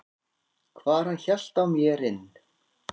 hvar hann hélt á mer inn.